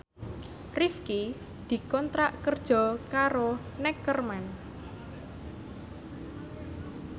Rifqi dikontrak kerja karo Neckerman